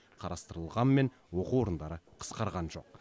қарастырылғанмен оқу орындары қысқарған жоқ